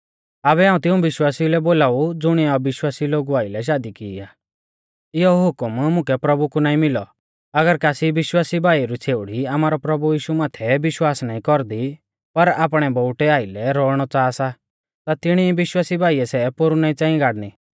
आबै हाऊं तिऊं विश्वासिऊ लै बोलाऊ ज़ुणिऐ अविश्वासी लोगु आइलै शादी की आ इयौ हुकम मुकै प्रभु कु नाईं मिलौ अगर कासी विश्वासी भाई री छ़ेउड़ी आमारै प्रभु माथै विश्वास नाईं कौरदी पर आपणै बोउटै आइलै रौउणौ च़ाहा सा ता तिणी विश्वासी भाईऐ सै पोरु नाईं च़ांई गाड़नी